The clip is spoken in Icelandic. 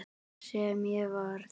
Sem ég varð.